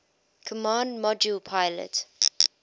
command module pilot